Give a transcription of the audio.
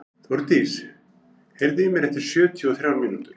Þórdís, heyrðu í mér eftir sjötíu og þrjár mínútur.